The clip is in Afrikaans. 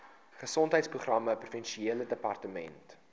gesondheidsprogramme provinsiale departement